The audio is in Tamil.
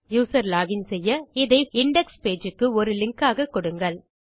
யூசர் லோகின் செய்ய இதை இண்டெக்ஸ் பேஜ் க்கு ஒரு லிங்க் ஆக கொடுங்கள்